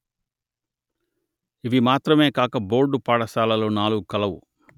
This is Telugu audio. ఇవి మాత్రమే కాక బోర్డు పాఠశాలలు నాలుగు కలవు